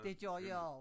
De gør jeg også